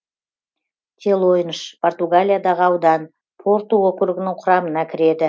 телойнш португалиядағы аудан порту округінің құрамына кіреді